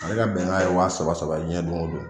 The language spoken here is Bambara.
Ale ka bɛnkan ye wa saba saba ye diɲɛ don o don